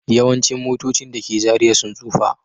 Yawancin motocin da ke Zariya sun tsufa